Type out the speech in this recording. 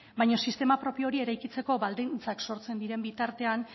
baino sistema propio hori eraikitzeko baldintzak sortzen diren bitartean